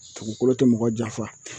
Dugukolo tɛ mɔgɔ janfa